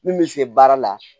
Min bɛ se baara la